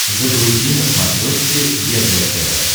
загрузи на смотрешке егэ тв